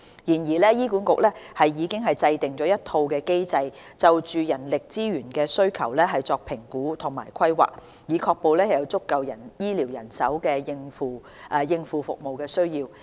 然而，醫管局已制訂一套機制，就人力資源的需求作評估和規劃，以確保有足夠的醫療人手應付服務需要。